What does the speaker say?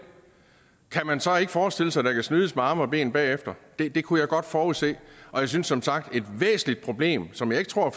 kan man så ikke forestille sig at der kan snydes med arme og ben bagefter det kunne jeg godt forudse og jeg synes som sagt at et væsentligt problem som jeg ikke tror